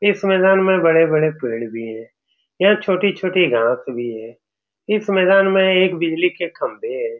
इस मैदान में बड़े-बड़े पेड़ भी है यह छोटी-छोटी घास भी है इस मैदान में एक बिजली के खम्बे है ।